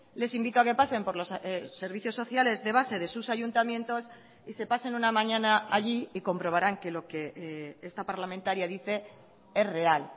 les invito a que pasen por los servicios sociales de base de sus ayuntamientos y se pasen una mañana allí y comprobarán que lo que esta parlamentaria dice es real